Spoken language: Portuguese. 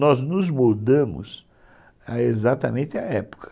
Nós nos moldamos exatamente à época.